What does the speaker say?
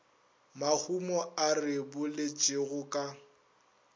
mahumo a re boletšego ka